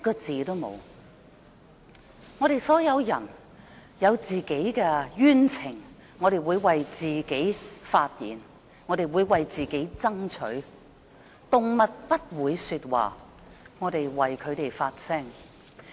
我們所有人有冤情時會為自己發言爭取，但動物不會說話，我們要為牠們發聲。